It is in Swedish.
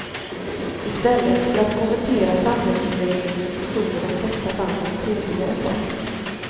I stället för att kommentera samhällsutvecklingen sjunger de flesta band om trevligare saker.